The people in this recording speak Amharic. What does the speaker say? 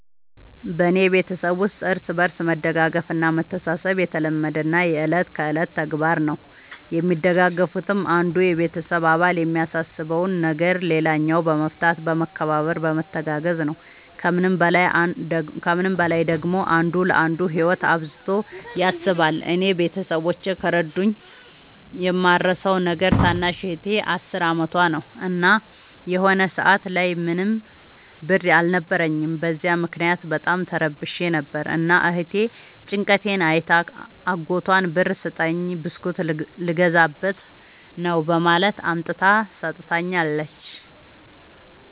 በኔ ቤተሠብ ውስጥ እርስ በርስ መደጋገፍ እና መተሣሠብ የተለመደና የእለት ከእለት ተግባር ነው። የሚደጋገፉትም አንዱ የቤተሰብ አባል የሚያሳስበውን ነገር ሌላኛው በመፍታት በመከባበር በመተጋገዝ ነው። ከምንም በላይ ደግሞ አንዱ ለአንዱ ህይወት አብዝቶ ያስባል። እኔ ቤተሠቦቼ ከረዱኝ የማረሣው ነገር ታናሽ እህቴ አስር አመቷ ነው። እና የሆነ ሰአት ላይ ምንም ብር አልነበረኝም። በዚያ ምክንያት በጣም ተረብሼ ነበር። እና እህቴ ጭንቀቴን አይታ አጎቷን ብር ስጠኝ ብስኩት ልገዛበት ነው በማለት አምጥታ ሠጥታኛለች።